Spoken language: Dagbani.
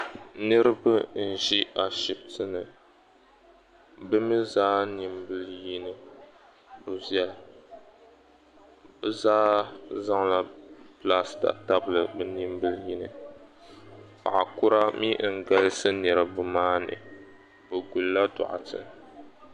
Niribi n-ʒi ashibiti ni. Bi mi zaa nimbili yino bi viɛla. Bi zaa zaŋ la plaster tabli nimbil yini. Paɣakura mi n-galisi niribi maa ni. Bi guli la dɔɣite.